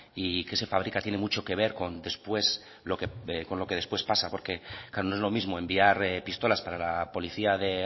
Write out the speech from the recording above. y qué se fabrica tiene mucho que ver con después lo que con lo que después pasa porque claro no es lo mismo enviar pistolas para la policía de